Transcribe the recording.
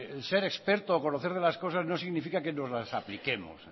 el ser experto o conocer de las cosas no significa que nos las apliquemos